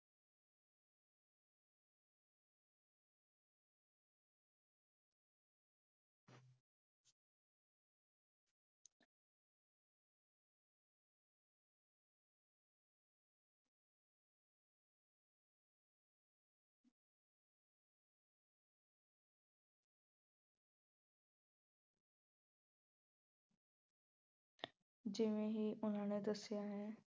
ਜਿਵੇਂ ਹੀ ਉਹਨਾਂ ਨੇ ਦੱਸਿਆ ਹੈ